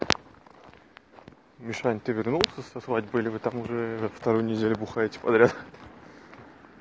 мишань ты вернулся со свадьбы или вы там уже вторую неделю бухаете подряд